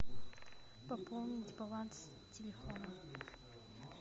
пополнить баланс телефона